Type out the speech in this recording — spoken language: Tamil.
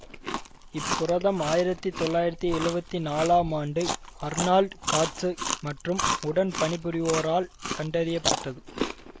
இப் புரதம் ஆயிரத்தி தொள்ளாயிரத்தி எழுவத்தி நாலாம் ஆண்டு அர்னால்டு காட்சு மற்றும் உடன் பணிபுரிவோரால் கண்டறிய பட்டது